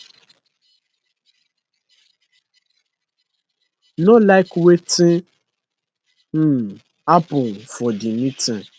no like wetin um happun for di meeting